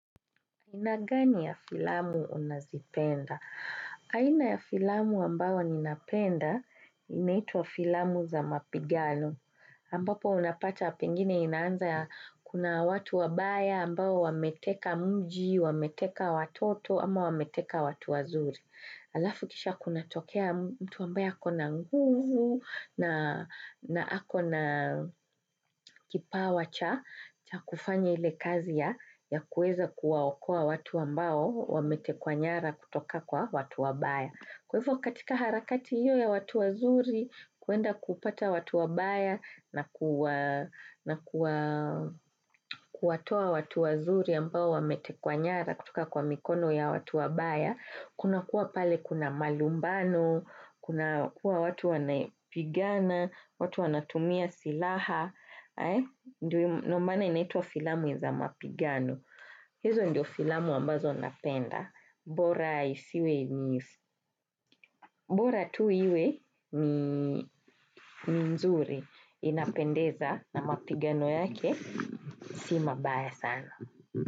Aina gani ya filamu unazipenda? Aina ya filamu ambayo ninapenda inaitwa filamu za mapigano ambapo unapata pengine inaanza kuna watu wabaya ambao wameteka mji, wameteka watoto, ama wameteka watu wazuri. Alafu kisha kunatokea mtu ambaye ako na nguvu na ako na kipawa cha kufanya ile kazi ya kuweza kuwaokoa watu ambao wametekwa nyara kutoka kwa watu wabaya. Kwa hivyo katika harakati hiyo ya watu wazuri, kuenda kupata watu wabaya na kuwatoa watu wazuri ambao wametekwa nyara kutoka kwa mikono ya watu wabaya, kuna kuwa pale kuna malumbano, kuna kuwa watu wanapigana, watu wanatumia silaha, ndio maana inaitwa filamu za mapigano. Hizo ndio filamu ambazo napenda, bora iwe ni nzuri inapendeza na mapigano yake, si mabaya sana.